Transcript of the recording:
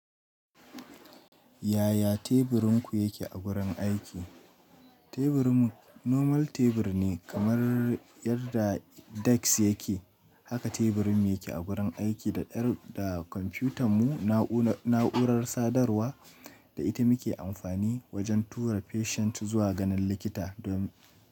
Yaya teburinku yake a wurin aiki? Teburinmu normal tebur ne, kamar yadda desk yake, haka teburinmu yake a wurin aiki da ɗan da kwamfutanmu, na'urar sadarwa da ita muke amfani wajen tura patient zuwa ganin likita don.